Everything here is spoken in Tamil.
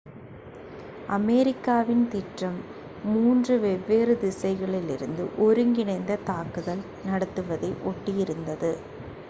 அமெரிக்காவின் திட்டம் மூன்று three வெவ்வேறு திசைகளிலிருந்து ஒருங்கிணைந்த தாக்குதல் நடத்துவதை ஒட்டி இருந்தது